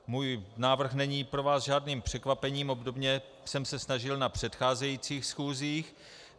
Můj návrh není pro vás žádným překvapením, obdobně jsem se snažil na předcházejících schůzích.